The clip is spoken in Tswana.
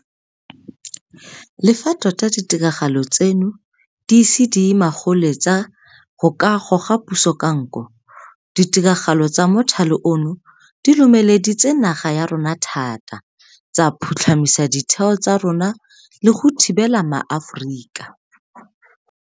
Le fa tota ditiragalo tseno di ise di ye magoletsa go ka goga puso ka nko, ditiragalo tsa mothale ono di lomele ditse naga ya rona thata, tsa phutlhamisa ditheo tsa rona le go thibela maAforika.